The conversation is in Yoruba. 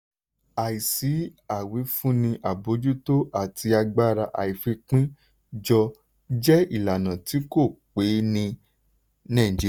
àìsí ìwífúnni àbójútó àti agbára àìfipín jọ jẹ́ ìlànà tí kò pé ní nàìjíríà.